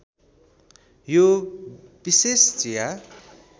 यो विशेष चिया